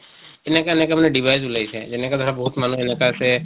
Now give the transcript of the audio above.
এনেকা এনেকা মানে device ওলাইছে যেনেকা ধৰা বহুত মানুহ এনেকা আছে